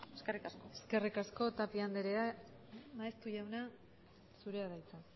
eskerrik asko eskerrik asko tapia andrea maeztu jauna zurea da hitza